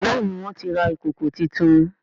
Béèni wón tí rà Ìkòkò títún.